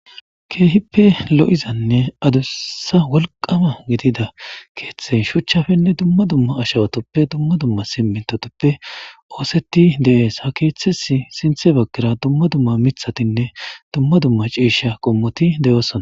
keehippe lo'izanne adussa wolqama gidida keeththey shuchchafenne dumma dumma ashawatoppe dumma dumma simintotoppe ooseti de'ees ha keeththes sinthe bagara dumma dumma mithatinne dumma dumma ciisha qommoti deyoosona.